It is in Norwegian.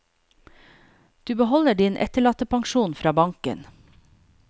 Du beholder din etterlattepensjon fra banken.